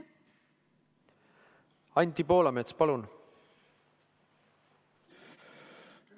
Anti Poolamets, palun!